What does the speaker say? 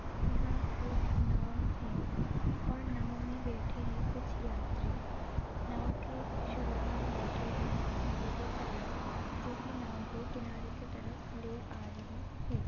यहां एक नाव है और नाव में बैठे हैं कुछ यात्री नाव के शुरू में बैठे हैं नाव के चालक जो की नाव को किनारे की तरफ ले आ रहे है।